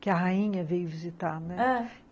que a rainha veio visitar, né? ãh